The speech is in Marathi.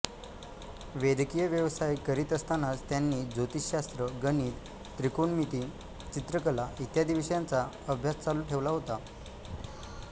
वैद्यकीय व्यवसाय करीत असतानाच त्यांनी ज्योतिषशास्त्र गणित त्रिकोणमिती चित्रकला इ विषयांचा अभ्यास चालू ठेवला होता